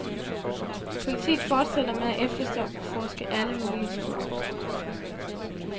Politiet fortsætter med at efterforske alle mulige spor.